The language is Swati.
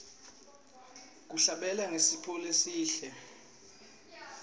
kuhlabelela kusiphiwo lesihle